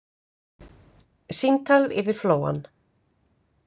Símtal yfir flóann